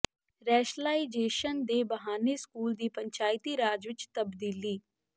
rationalisation ਦੇ ਬਹਾਨੇ school ਦੀ ਪੰਚਾਇਤੀ ਰਾਜ ਵਿੱਚ ਤਬਦੀਲੀ